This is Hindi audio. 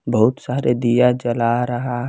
बहुत सारे दिया जला रहा--